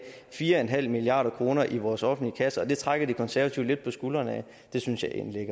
fire en halv milliard kroner i vores offentlige kasse og det trækker de konservative lidt på skulderen af det synes jeg egentlig